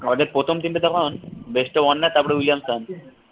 আমাদের প্রথম team টা যখন ওয়ার্নার তারপর উইলিয়ামসন